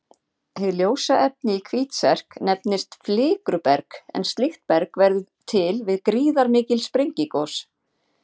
Hið ljósa efni í Hvítserk nefnist flikruberg en slíkt berg verður til við gríðarmikil sprengigos.